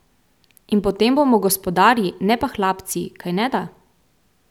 In potem bomo gospodarji, ne pa hlapci, kajneda?